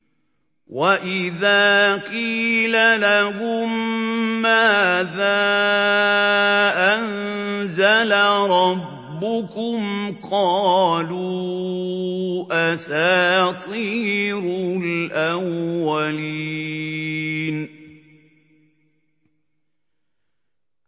وَإِذَا قِيلَ لَهُم مَّاذَا أَنزَلَ رَبُّكُمْ ۙ قَالُوا أَسَاطِيرُ الْأَوَّلِينَ